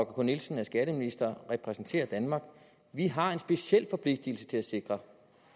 k nielsen er skatteminister og repræsenterer danmark vi har en speciel forpligtelse til at sikre